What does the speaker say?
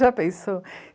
Já pensou?